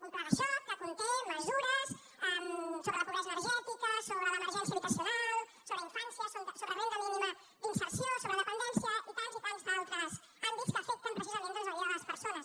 un pla de xoc que conté mesures sobre la pobresa energètica sobre l’emergència habitacional sobre infància sobre renda mínima d’inserció sobre dependència i tants i tants altres àmbits que afecten precisament doncs la vida de les persones